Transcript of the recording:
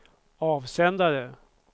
avsändare